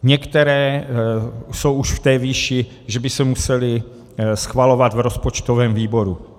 Některé jsou už v té výši, že by se musely schvalovat v rozpočtovém výboru.